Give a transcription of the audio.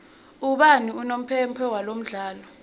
ubani unompempe walomdlalo